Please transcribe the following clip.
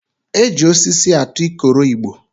E ji osisi atụ ikoro igbo